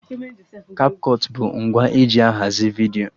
Kapkọt bụ ngwa eji ahazi vidiyo